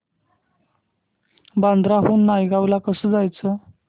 बांद्रा हून नायगाव ला कसं जायचं